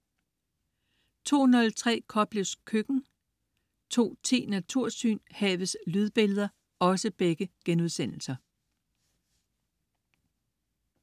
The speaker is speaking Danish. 02.03 Koplevs køkken* 02.10 Natursyn: Havets lydbilleder*